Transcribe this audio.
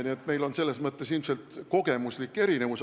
Nii et meil on selles mõttes ilmselt kogemuslikud erinevused.